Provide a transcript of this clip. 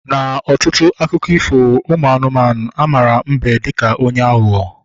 Na ọtụtụ akụkọ ifo ụmụ anụmanụ, ha mara mbe dịka onye aghụghọ